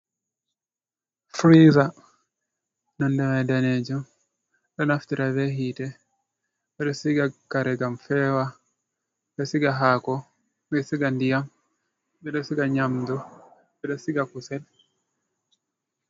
Firiza nonde mai daneejum, ɗo naftira be hiite, ɓe ɗo siga kare ngam feewa, ɓe ɗo siga haako, ɓe ɗo siga ndiyam, ɓe ɗo siga nyamdu, ɓe ɗo siga kusel.